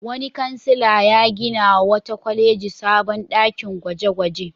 Wani kansila ya ginawa wata kwaleji sabon ɗakin gwaje-gwaje.